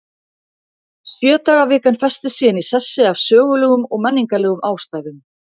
Sjö daga vikan festist síðan í sessi af sögulegum og menningarlegum ástæðum.